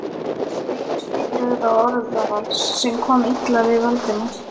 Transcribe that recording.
spil svipbrigða og orðavals, sem kom illa við Valdimar.